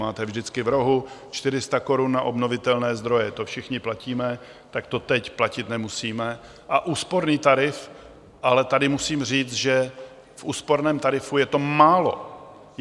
Máte vždycky v rohu 400 korun na obnovitelné zdroje, to všichni platíme, tak to teď platit nemusíme, a úsporný tarif - ale tady musím říct, že v úsporném tarifu je to málo.